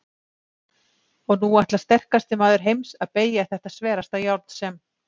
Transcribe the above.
Og nú ætlar sterkasti maður heims að BEYGJA ÞETTA SVERASTA JÁRN SEM